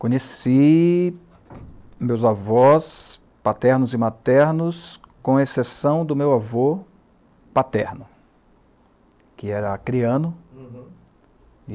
Conheci meus avós paternos e maternos, com exceção do meu avô paterno, que era acriano. Uhum